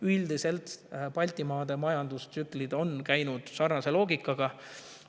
Üldiselt on Baltimaade majandustsüklid käinud sarnase loogika järgi.